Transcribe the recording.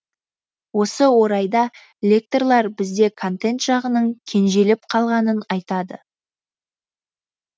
осы орайда лекторлар бізде контент жағының кенжелеп қалғанын айтады